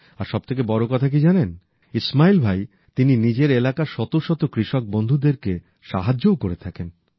আর সব থেকে বড় কথা কি জানেন ইসমাইল ভাই౼ তিনি নিজের এলাকার শত শত কৃষক বন্ধুদেরকে সাহায্যও করে থাকেন